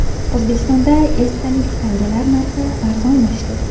O‘zbekistonda esdalik tangalar narxi arzonlashdi.